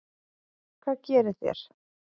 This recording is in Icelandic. Hvað gerið þér?